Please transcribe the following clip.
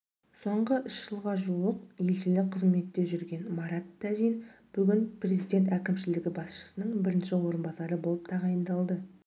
соңғы үшжылға жуық уақытта елшілік қызметте жүргенмарат тәжин бүгін президент әкімшілігі басшысының бірінші орынбасары болып тағайындалды